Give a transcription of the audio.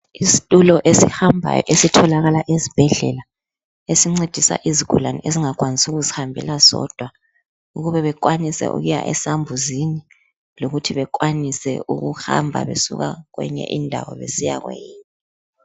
Isitulo esihambayo esitholakala esibhedlela esincedisa izigulane ezingakwanisi ukuzihambela sodwa ukuba bekwanise ukuya esambuzini lokuthi bakwanise ukuhamba besuka kweyinye indawo besiyakweyinye.